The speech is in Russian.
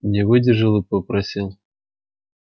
не выдержал и попросил